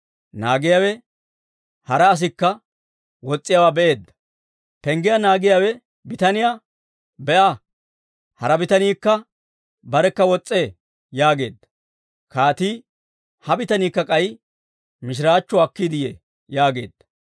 Naagiyaawe hara asikka wos's'iyaawaa be'eedda; penggiyaa naagiyaa bitaniyaa, «Be'a! Hara bitaniikka barekka wos's'ee» yaageedda. Kaatii, «Ha bitaniikka k'ay mishiraachchuwaa akkiide yee» yaageedda.